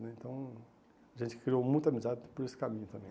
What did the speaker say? Então, a gente criou muita amizade por esse caminho também.